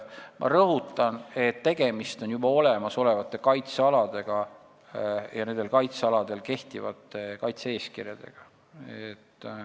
Ma rõhutan, et tegemist on juba olemas olevate kaitsealadega ja nendel kaitsealadel kehtivate kaitse-eeskirjadega.